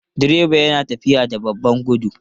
Direba yana tafiya da babban gudu?